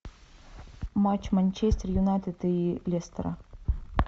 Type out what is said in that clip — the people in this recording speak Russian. матч манчестер юнайтед и лестера